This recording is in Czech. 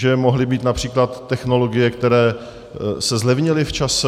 Že mohly být například technologie, které se zlevnily v čase?